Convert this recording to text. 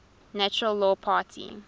natural law party